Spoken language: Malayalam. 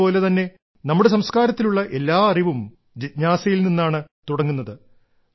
ഗീത പോലെ തന്നെ നമ്മുടെ സംസ്കാരത്തിലുള്ള എല്ലാ അറിവും ജിജ്ഞാസയിൽ നിന്നാണ് തുടങ്ങുന്നത്